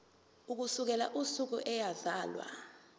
ukusukela usuku eyazalwa